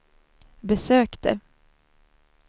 besökte